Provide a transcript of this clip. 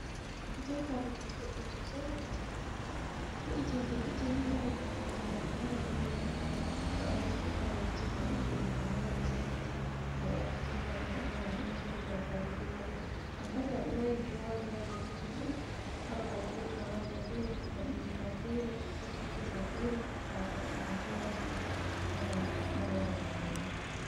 Kiicin kabinet boɗɗum sosei ha kicin, wo'itintee kicin waɗa taasaje maɗa mara babal jooɗugo to a nasti a tawai kicin ma ɗoo wooɗi na wai ɗon sankiti. To wala kicin kabinet atawan aɗo sigi taasaje ko hatoi . Amma to aɗo mari duroowaji ha nder kicin ɗo, ha babal pilet ma woonata feere laɓeji ma feere ,koofiji ma fere, taasaje ma kuulaji ma pat wonai marai babal muuɗum.